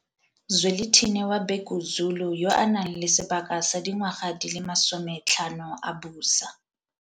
Zwelithini wa Bhekuzulu yo a nang le sebaka sa dingwaga di le masome tlhano a busa.